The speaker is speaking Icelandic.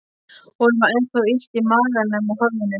Honum var ennþá illt í maganum og höfðinu.